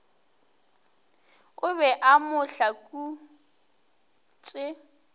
o be a mo hlakotše